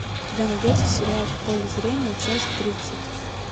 у тебя найдется сериал в поле зрения часть тридцать